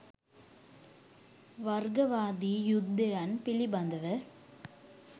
වර්ගවාදී යුද්ධයන් පිළිබඳව